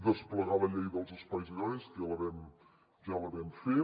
desplegar la llei dels espais agraris que ja la vam fer